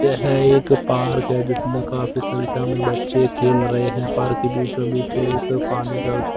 यह एक पार्क है जिसमें काफी संख्या में बच्चे खेल रहे हैं पार्क के बीचों बीच एक पानी का--